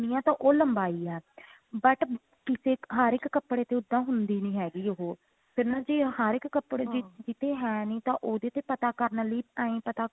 ਕੰਨੀ ਆ ਤਾਂ ਉਹ ਲੰਬਾਈ ਆ but ਕਿਸੇ ਹਰ ਇੱਕ ਕੱਪੜੇ ਤੇ ਤਾਂ ਹੁੰਦੀ ਨਹੀਂ ਹੈਗੀ ਉਹ ਫੇਰ ਨਾ ਜੀ ਹਰ ਇੱਕ ਕੱਪੜੇ ਤੇ ਹੈ ਨਹੀਂ ਤਾਂ ਉਹਦੇ ਤੇ ਪਤਾ ਕਰਨ ਲਈ ਐਈ ਪਤਾ